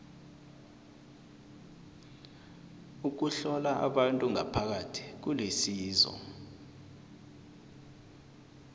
ukuhlola abantu ngaphakathi kulisizo